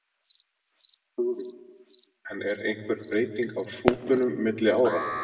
Hugrún: En er einhver breyting á súpunum milli ára?